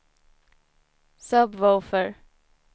sub-woofer